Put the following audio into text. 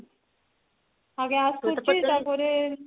ଆଉ gas କରୁଛି ତା ପରେ